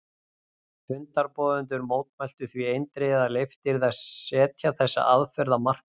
Fundarboðendur mótmæltu því eindregið að leyft yrði að setja þessa aðferð á markaðinn.